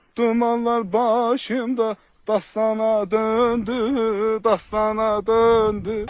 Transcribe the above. Dumanlar başımda dastana döndü, dastana döndü.